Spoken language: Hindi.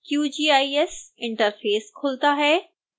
qgis इंटरफेस खुलता है